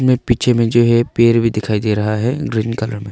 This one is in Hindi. में पीछे में जो है पेड़ भी दिखाई दे रहा है ग्रीन कलर में--